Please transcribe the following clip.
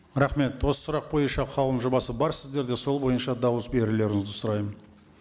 рахмет осы сұрақ бойынша қаулының жобасы бар сіздерде сол бойынша дауыс берулеріңізді сұраймын